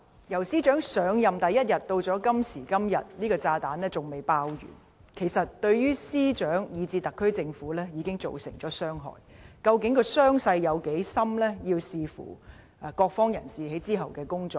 由司長上任第一天至今，這個炸彈仍未爆完，對司長以至特區政府已造成傷害，傷勢有多深取決於各方人士之後的工作。